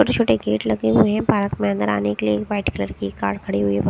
छोटे छोटे गेट लगे हुये हैं पार्क में अंदर आने के लिए एक वाइट कलर की कार खड़ी हुई है बाह --